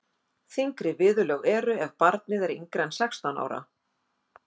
þyngri viðurlög eru ef barnið er yngra en sextán ára